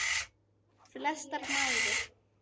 Flestar mæður.